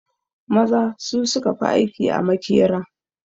Maza su suka fi aiki a makera